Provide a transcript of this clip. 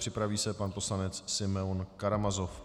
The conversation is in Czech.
Připraví se pan poslanec Simeon Karamazov.